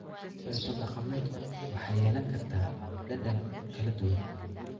Cunto dhaqameedku waxay yeelan kartaa dhadhan kala duwan.